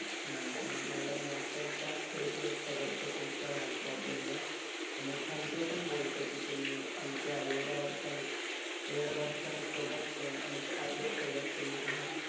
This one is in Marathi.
अच्छा अं madam मी अत्यंत खेद व्यक्त करतो तुमच्या या problem वर, आणि thank you पण बोलतो की तुम्ही आमच्या एवढ्या वर्षां~एवढ्या वर्षांसोबत अं आमच्या आयडियासोबत तुम्ही आहात.